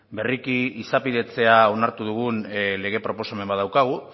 berriki izapidetzea onartu dugun lege proposamen bat daukagu